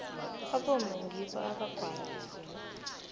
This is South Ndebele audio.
abomma ngibo abagwala izindlu